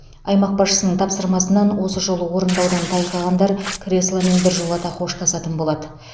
аймақ басшысының тапсырмасынан осы жолы орындаудан тайқығандар кресломен біржолата қоштасатын болады